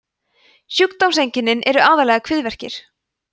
sjúkdómseinkennin eru aðallega kviðverkir